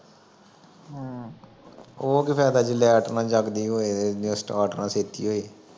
ਉਹ ਕੀ ਫਾਇਦਾ ਜੇ ਲਾਇਟ ਨਾ ਜਗਦੀ ਹੋਵੇ ਤੇ ਸਟਾਰਟ ਨਾ ਛੇਤੀ ਹੋਵੇ